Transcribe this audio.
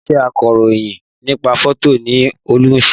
Iṣẹ́ akọ̀rọ̀yìn nípa fótò ni Olú ń ṣe